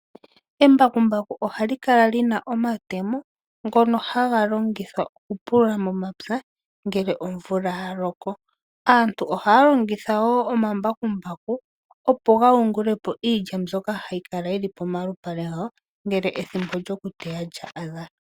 Embakumbaku ohali kala li na omatemo ngono haga longithwa okupulula momapya, ngele omvula ya loko. Aantu ohaya longitha wo omambakumbaku, opo ga yungule po iilya mbyoka hayi kala yi li pomalupale gwawo, ngele ethimbo lyokuteya lya adha.